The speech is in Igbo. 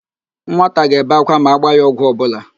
Nwata ga-ebe ákwá ma agba ya ọgwụ ọbụla.